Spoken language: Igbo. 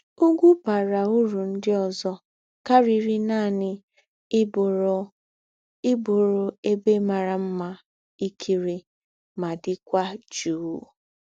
Ùgwù̄ bàrà ūrù ńdị òzò kàríri nánị íbụ̀rù íbụ̀rù ēbè màrà mmà ńkírí mà dị̄kwà jụụ́.